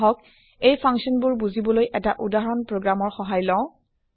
আহক এই ফাংচন বোৰ বুজিবলৈ এটা উদাহৰণ প্ৰগ্ৰাম ৰ সহায় লওঁ